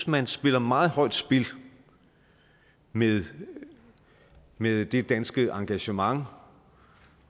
man spiller meget højt spil med med det danske engagement